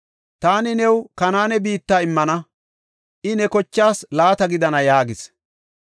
“Taani new Kanaane biitta immana; I ne kochaas laata gidana” yaagis.